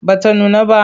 Ba ta nuna ba.